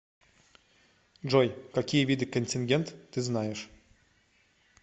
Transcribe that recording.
джой какие виды контингент ты знаешь